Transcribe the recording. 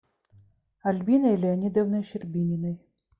альбиной леонидовной щербининой